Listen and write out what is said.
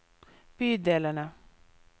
bydelene